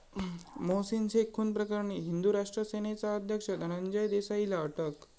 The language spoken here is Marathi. मोहसीन शेख खून प्रकरणी हिंदू राष्ट्र सेनेचा अध्यक्ष धनंजय देसाईला अटक